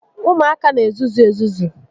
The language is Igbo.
Ụmụaka n'ezuzu ezuzu